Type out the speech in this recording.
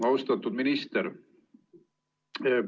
Austatud minister!